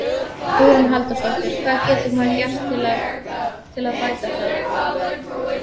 Hugrún Halldórsdóttir: Hvað getur maður gert til að, til að bæta það?